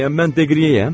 Bəyəm mən Deqriyəyəm?